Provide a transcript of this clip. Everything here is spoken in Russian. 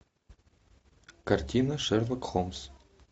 картина шерлок холмс